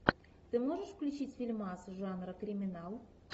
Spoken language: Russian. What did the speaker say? ты можешь включить фильмас жанра криминал